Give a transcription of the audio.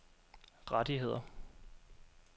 rettigheder